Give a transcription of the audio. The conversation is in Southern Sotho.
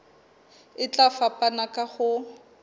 e tla fapana ka ho